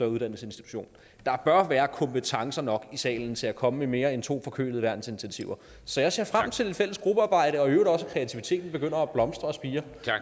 uddannelsesinstitution der bør være kompetencer nok i salen til at komme med mere end to forkølede værnsinitiativer så jeg ser frem til lidt fælles gruppearbejde og i øvrigt også at kreativiteten begynder at blomstre og spire